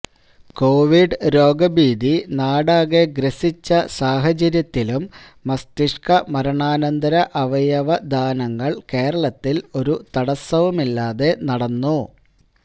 Covid രോഗഭീതി നാടാകെ ഗ്രസിച്ച സാഹചര്യത്തിലും മസ്തിഷ്കമരണാനന്തര അവയവദാനങ്ങള് കേരളത്തില് ഒരു തടസവുമില്ലാതെ നടന്നു